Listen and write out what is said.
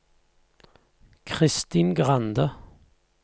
Kristin Grande